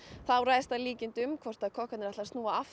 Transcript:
það ræðst að líkindum hvort kokkarnir snúa aftur